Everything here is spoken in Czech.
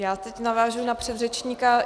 Já teď navážu na předřečníka.